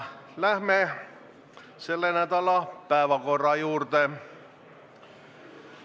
Läheme selle nädala päevakorra juurde.